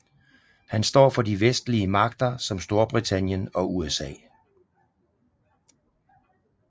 Han står for de vestlige magter som Storbritannien og USA